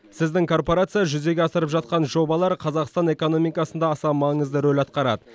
сіздің корпорация жүзеге асырып жатқан жобалар қазақстан экономикасында аса маңызды рөл атқарады